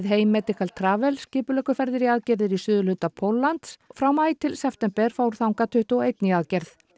hei medical Travel skipuleggur ferðir í aðgerðir í suðurhluta Póllands frá maí til september fór tuttugu og eitt í aðgerð